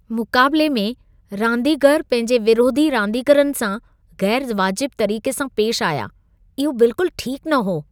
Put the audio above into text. मुक़ाबिले में, रांदीगर पंहिंजे विरोधी रांदीगरनि सां ग़ैरु वाजिबु तरीक़े सां पेशि आया, इहो बिल्कुलु ठीकु न हो।